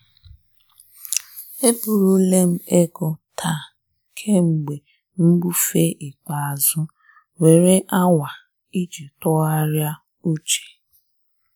E burule m ego taa ego taa kemgbe mbufe ikpeazụ were awa iji tụgharịa uche.